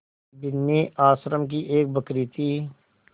बिन्नी आश्रम की एक बकरी थी